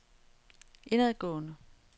indadgående